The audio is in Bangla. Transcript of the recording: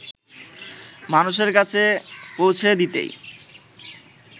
মানুষের কাছে পৌঁছে দিতেই